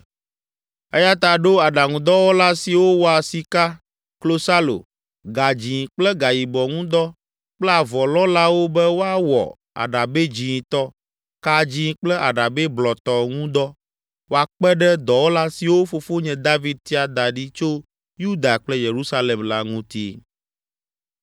“Eya ta ɖo aɖaŋudɔwɔla siwo wɔa sika, klosalo, gadzĩ kple gayibɔ ŋu dɔ kple avɔlɔ̃lawo be woawɔ aɖabɛ dzĩtɔ, ka dzĩ kple aɖabɛ blɔtɔ ŋu dɔ woakpe ɖe dɔwɔla siwo fofonye David tia da ɖi tso Yuda kple Yerusalem la ŋuti.